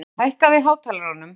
Ríta, hækkaðu í hátalaranum.